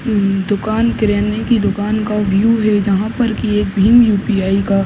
दुकान किराने की दुकान का व्यू है जहाँ पर की एक भीम युपीआई का --